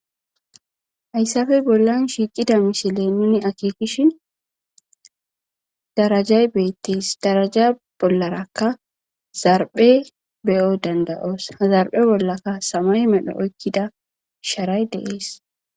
Haysape bolan shiqida missilen nuni akekishini darajay betes daraja bolaraka zarphe be'o danda'os he zarphe bolakka samaye medho oyqida sharay de'es.